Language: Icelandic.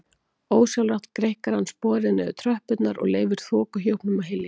Ósjálfrátt greikkar hann sporið niður tröppurnar og leyfir þokuhjúpnum að hylja sig.